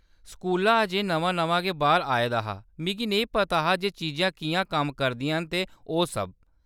स्कूला अजें नमां-नमां गै बाह्‌र आए दा हा, मिगी नेईं पता हा जे चीजां किʼयां कम्म करदियां न ते ओह्‌‌ सब।